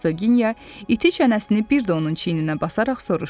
deyə Hersoginya iti çənəsini bir də onun çiyninə basaraq soruşdu.